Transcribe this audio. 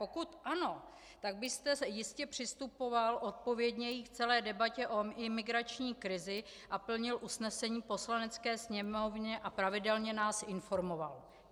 Pokud ano, tak byste jistě přistupoval odpovědněji k celé debatě o imigrační krizi a plnil usnesení Poslanecké sněmovny a pravidelně nás informoval.